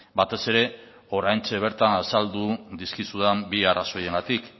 batez ere oraintxe bertan azaldu dizkizudan bi arrazoiengatik